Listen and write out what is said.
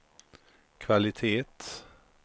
kvalitet